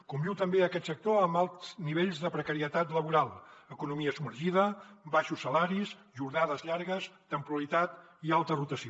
conviu també aquest sector amb alts nivells de precarietat laboral economia submergida baixos salaris jornades llargues temporalitat i alta rotació